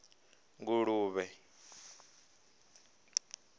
nguluvhe